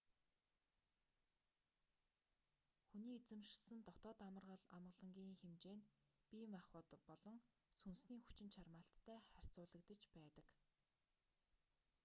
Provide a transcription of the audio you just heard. хүний эзэмшсэн дотоод амар амгалангийн хэмжээ нь бие махбод болон сүнсний хүчин чармайлттай харьцуулагдаж байдаг